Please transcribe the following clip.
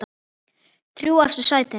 Þrjú efstu sætin